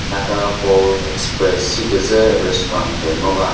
naga bowl express shi küzü restaurant püh ngo va.